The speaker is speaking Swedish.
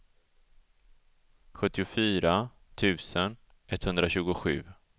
sjuttiofyra tusen etthundratjugosju